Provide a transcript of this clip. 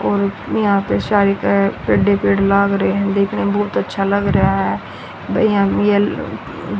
और यहां पे सारी लाग रहे हैं देखने में बहुत अच्छा लग रया है यहां में येलो --